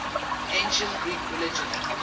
ancient greek religion